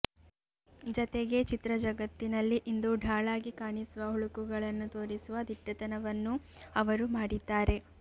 ಜತೆಗೆ ಚಿತ್ರಜಗತ್ತಿನಲ್ಲಿ ಇಂದು ಢಾಳಾಗಿ ಕಾಣಿಸುವ ಹುಳುಕುಗಳನ್ನು ತೋರಿಸುವ ದಿಟ್ಟತನವನ್ನೂ ಅವರು ಮಾಡಿದ್ದಾರೆ